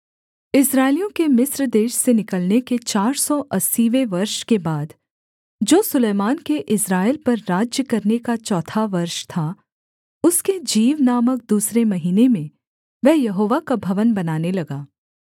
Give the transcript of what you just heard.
इस्राएलियों के मिस्र देश से निकलने के चार सौ अस्सीवें वर्ष के बाद जो सुलैमान के इस्राएल पर राज्य करने का चौथा वर्ष था उसके जीव नामक दूसरे महीने में वह यहोवा का भवन बनाने लगा